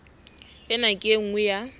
ena ke e nngwe ya